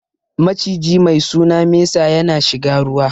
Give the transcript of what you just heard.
Maciji mai suna mesa ya na shiga ruwa